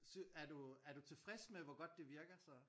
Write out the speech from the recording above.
Er du er du tilfreds med hvor godt det virker så?